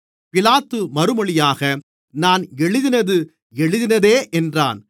பிலாத்து மறுமொழியாக நான் எழுதினது எழுதினதே என்றான்